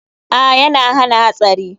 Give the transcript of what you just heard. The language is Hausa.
A,yana hana hatsari.